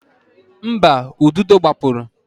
Mba, ududo gbapụrụ.